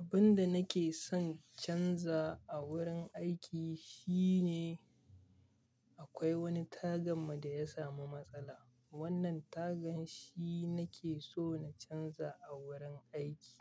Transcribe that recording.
Abun da nake son in canza a wurin aiki shine akwai wani tagan mu da ya samu matsala. Wannan tagan shi nake so na canza a wurin aiki.